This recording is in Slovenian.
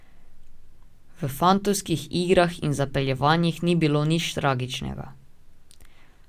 V fantovskih igrah in zapeljevanjih ni bilo nič tragičnega.